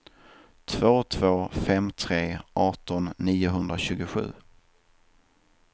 två två fem tre arton niohundratjugosju